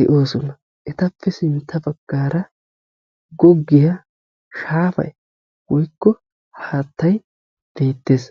de'oosona, Etappe sinttappe sintta baggaara goggiyaa shaafay woykko haattay beettees.